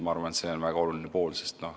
Ma arvan, et see on väga oluline.